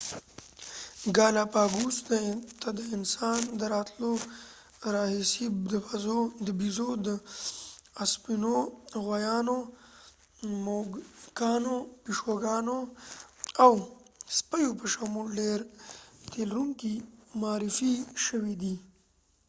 ګالاپاګوس ته د انسان د راتلو راهیسې د بزو اسپونو غوایانو موږکانو پیشوګانو او سپیو په شمول ډېر تيلرونکي معارفي شوي دي